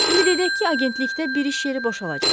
Ümid edək ki, agentlikdə bir iş yeri boşalacaq.